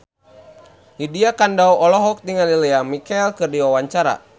Lydia Kandou olohok ningali Lea Michele keur diwawancara